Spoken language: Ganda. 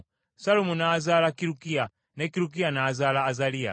Sallumu n’azaala Kirukiya, ne Kirukiya n’azaala Azaliya;